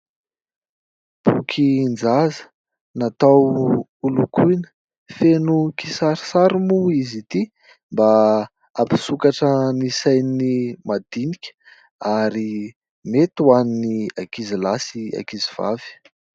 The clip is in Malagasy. Bokin-jaza natao ho lokoina, feno kisarisariy moa izy ity mba hampisokatra ny sain'ny madinika ary mety ho an'ny ankizy lahy sy ankizy vavy.